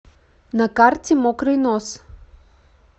на карте мокрый нос